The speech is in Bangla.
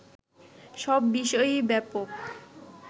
সব বিষয়েই ব্যাপক